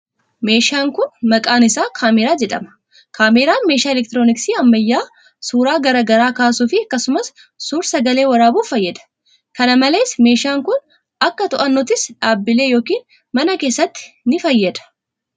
Meeshaan kun, maqaan isaa kaameraa jedhama. Kaameraan meeshaa elektirooniksii ammayyaa suura garaa garaa kaasuu fi akkasumas suur-sagalee waraabuuf fayyada. Kana malees meeshaan kun, akka to'annoottis dhaabbilee yokin mana keessatti ni fayyada.